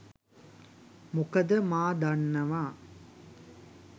මොකද මා දන්නවා